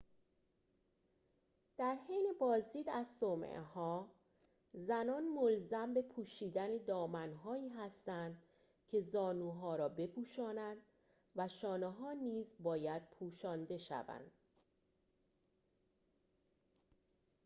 در حین بازدید از صومعه‌ها زنان ملزم به پوشیدن دامن‌هایی هستند که زانوها را بپوشاند و شانه‌ها نیز باید پوشانده شوند